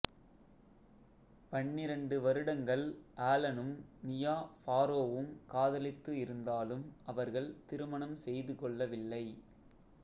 பன்னிரண்டு வருடங்கள் ஆலனும் மியா ஃபாரோவும் காதலித்து இருந்தாலும் அவர்கள் திருமணம் செய்து கொள்ளவில்லை